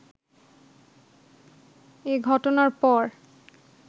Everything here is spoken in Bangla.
এ ঘটনার পর